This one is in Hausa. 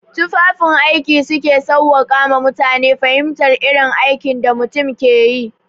Tufafin aiki su ke sawwaƙe ma mutane fahimtar irin aikin da mutum ke yi.